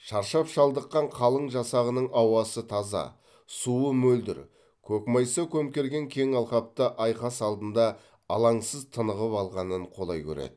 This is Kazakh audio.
шаршап шалдыққан қалың жасағының ауасы таза суы мөлдір көкмайса көмкерген кең алқапта айқас алдында алаңсыз тынығып алғанын қолай көреді